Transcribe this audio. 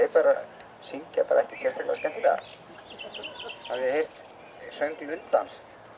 syngja ekkert sérstaklega skemmtilega hafið þið heyrt söng lundans